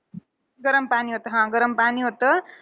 गरम पाणी होतं. हा गरम पाणी होतं.